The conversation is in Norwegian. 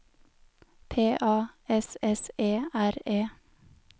P A S S E R E